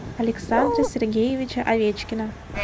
александра сергеевича овечкина